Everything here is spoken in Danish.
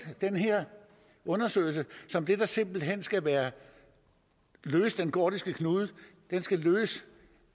den her undersøgelse som det der simpelt hen skal løse den gordiske knude den skal løse